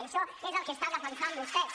i això és el que estan defensant vostès